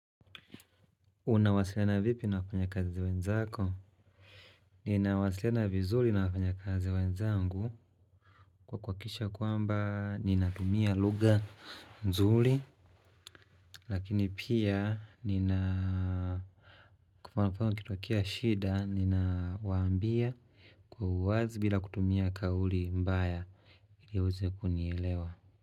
Unawasiliana vipi na wafanya kazi wenzako? Ninawasiliana vizuli na wafanya kazi wenzangu kwa kuhakikisha ya kwamba ninatumia luga nzuli. Lakini pia nina kwa mfano kukitokea shida ninawaambia kwa uwazi bila kutumia kauli mbaya ili ueze kunielewa.